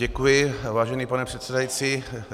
Děkuji, vážený pane předsedající.